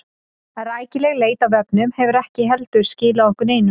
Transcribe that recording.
Rækileg leit á vefnum hefur ekki heldur skilað okkur neinu.